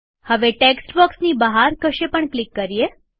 હવે ટેક્સ્ટ બોક્સની બહાર કશે પણ ક્લિક કરીએ